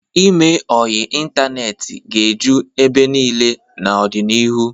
Ime ọyị ịntaneetị ga-eju ebe niile n'ọdịnihu.